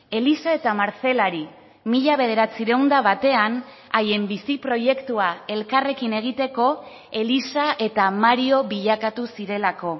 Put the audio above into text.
elisa eta marcelari mila bederatziehun eta batean haien bizi proiektua elkarrekin egiteko elisa eta mario bilakatu zirelako